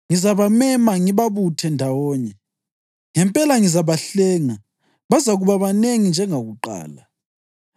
Ngizabamema ngibabuthe ndawonye. Ngempela ngizabahlenga; bazakuba banengi njengakuqala.